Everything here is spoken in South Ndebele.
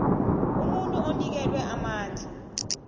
umuntu onikelwe amandla